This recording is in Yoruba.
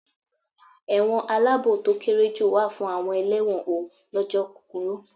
Ẹ̀wọ̀n aláàbò to kéré jù wà fún àwọn elẹ́wọ̀n ó lọ́jọ́ kúkurú.